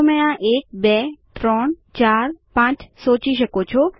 તો તમે આ એક બે ત્રણ ચાર પાંચ સોચી શકો છો